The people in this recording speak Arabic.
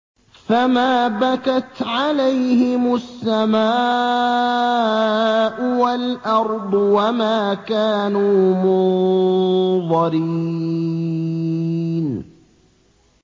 فَمَا بَكَتْ عَلَيْهِمُ السَّمَاءُ وَالْأَرْضُ وَمَا كَانُوا مُنظَرِينَ